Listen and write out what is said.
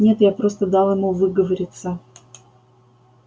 нет я просто дал ему выговориться